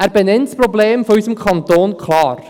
Er benennt das Problem unseres Kantons klar: